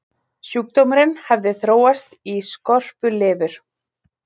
Sjúkdómurinn hafði þróast í skorpulifur.